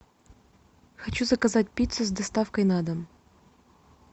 хочу заказать пиццу с доставкой на дом